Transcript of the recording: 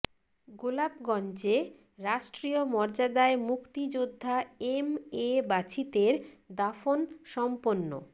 গোলাপগঞ্জে রাষ্ট্রীয় মর্যাদায় মুক্তিযোদ্ধা এম এ বাছিতের দাফন সম্পন্ন